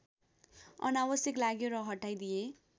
अनावश्यक लाग्यो र हटाइदिए